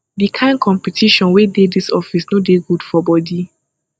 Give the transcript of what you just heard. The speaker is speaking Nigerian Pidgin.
di kain competition wey dey dis office no dey good for bodi